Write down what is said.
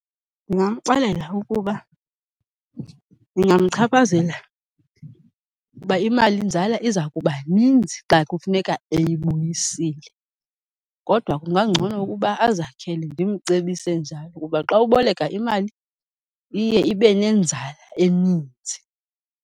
Ndingamxelela ukuba ingamchaphazela ngoba imalinzala iza kuba ninzi xa kufuneka eyibuyisile kodwa kungangcono ukuba azakhele, ndimcebise njalo. Ngoba xa uboleka imali, iye ibe nenzala eninzi.